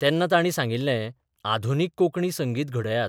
तेन्ना तांणी सांगिल्लेः आधुनीक कोंकणी संगीत घडयात.